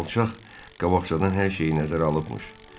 O alçaq qabaqcadan hər şeyi nəzərə alıbmış.